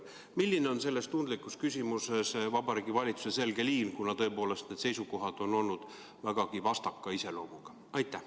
" Milline on selles tundlikus küsimuses Vabariigi Valitsuse selge liin, kuna tõepoolest need seisukohad on olnud vägagi vastaka iseloomuga?